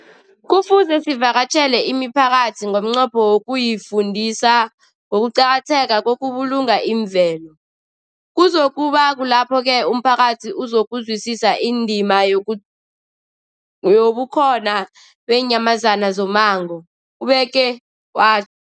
Kufuze sivakatjhele imiphakathi ngomnqopho wokuyifundisa ngokuqakatheka kokubulunga imvelo. Kuzoku ba kulapho-ke umphakathi uzokuzwisisa indima yobukhona beenyamazana zommango, ubeke wa